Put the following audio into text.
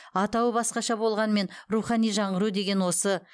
атауы басқаша болғанмен рухани жаңғыру деген осы